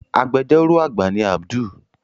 Agbẹjọ́rò àgbà ni Abdul